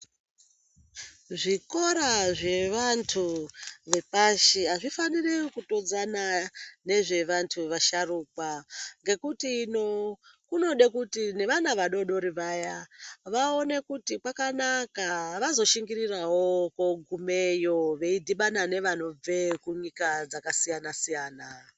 Zvikora zvevantu vepashi azvifaniri kutodzana nezve vantu vasharukwa ngekuti ino kunode kuti nevana vadodori vaya vaone kuti kwakanaka vazoshingirirawo kogumeyo veidhibana nevanobve kunyika dzakasiyana -siyana.